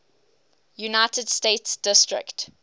united states district